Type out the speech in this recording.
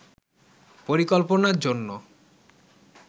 পরিকল্পনার জন্য